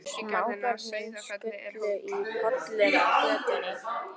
Smábörnin sulluðu í pollum á götunni.